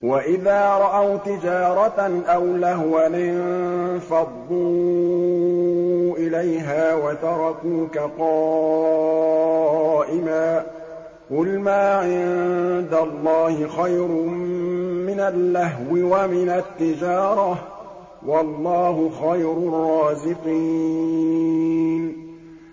وَإِذَا رَأَوْا تِجَارَةً أَوْ لَهْوًا انفَضُّوا إِلَيْهَا وَتَرَكُوكَ قَائِمًا ۚ قُلْ مَا عِندَ اللَّهِ خَيْرٌ مِّنَ اللَّهْوِ وَمِنَ التِّجَارَةِ ۚ وَاللَّهُ خَيْرُ الرَّازِقِينَ